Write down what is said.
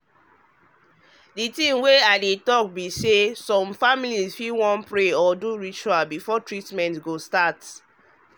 the thing wey i dey talk be say some families fit wan pray or do rituals before treatment start.